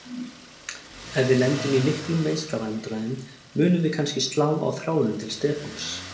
Ef við lendum í miklum meiðslavandræðum munum við kannski slá á þráðinn til Stefáns.